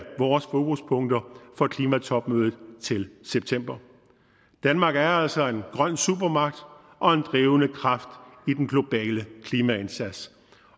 vores fokuspunkter for klimatopmødet til september danmark er altså en grøn supermagt og en drivende kraft i den globale klimaindsats